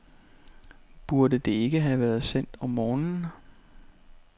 Burde det ikke have været sendt om morgenen?